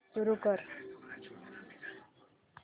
सुरू कर